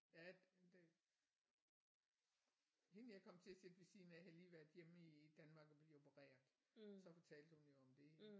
Ja det hende jeg kom til at sidde ved siden af havde lige været hjemme i Danmark og blive opereret så fortalte hun jo om det